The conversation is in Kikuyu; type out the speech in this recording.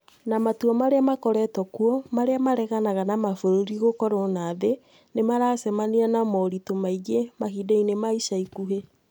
Na matua marĩa makoretwo kuo marĩa mareganaga na mabũrũri gũkorũo na thĩ nĩ maracemania na moritũ maingĩ mahinda-inĩ ma ica ikuhĩ".